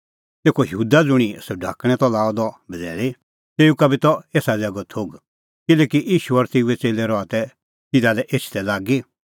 तेखअ यहूदा ज़ुंणी सह ढाकणैं त लाअ द बझ़ैल़ी तेऊ का बी त एसा ज़ैगो थोघ किल्हैकि ईशू और तेऊए च़ेल्लै रहा तै तिधा लै एछदै लागी